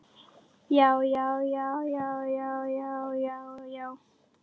JÁ, JÁ, JÁ, JÁ, JÁ, JÁ, JÁ, JÁ.